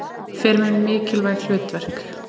Fer með mikilvæg hlutverk.